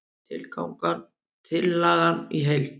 Tillagan í heild